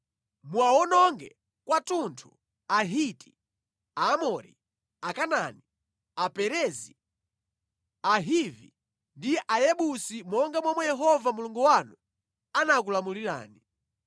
Muwawononge kwathunthu Ahiti, Aamori, Akanaani, Aperezi, Ahivi ndi Ayebusi monga momwe Yehova Mulungu wanu anakulamulirani.